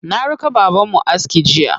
Na raka babanmu aski jiya.